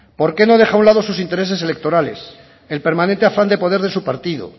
por qué no deja a un lado sus intereses electorales el permanente afán de poder de su partido